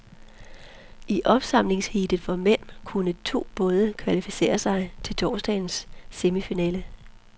I opsamlingsheatet for mænd, kunne to både kvalificere sig til torsdagens semifinale.